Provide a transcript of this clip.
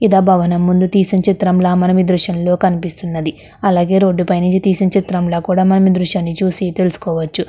ఇది ఆ భవనము ముందు తీసిన చిత్రం ల మనం ఈ దృశ్యం ల కనిపిస్తుంది అలాగే రోడ్ పైన తీసిన చిత్రంలా కూడా కనిపిస్తున్నది మనం ఈ దృశ్యాన్ని చూసి తెలుసుకోవచ్చు.